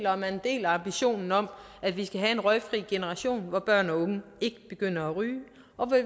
og at man deler ambitionen om at vi skal have en røgfri generation hvor børn og unge ikke begynder at ryge